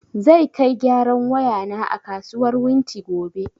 Zai kai gyaran waya na a kasuwar wunti gobe